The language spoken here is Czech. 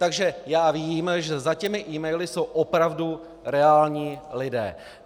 Takže vím, že za těmi e-maily jsou opravdu reální lidé.